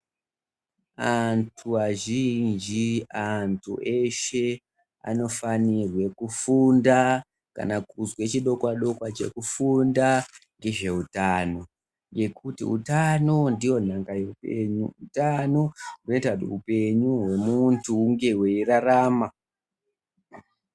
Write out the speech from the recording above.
Antu azhinji, antu eshe anofanirwe kufunda kana kuzwa chidokwa dokwa chekufunda ngezveutano, nekuti utano ndiyo nhaka yeupenyu, utano hunoita kuti hupengu hwemuntu hunge hweirarama.